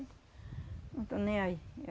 Não estão nem aí.